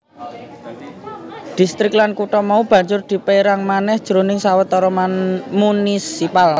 Dhistrik lan kutha mau banjur dipérang manèh jroning sawetara munisipal